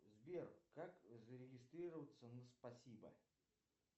сбер как зарегистрироваться на спасибо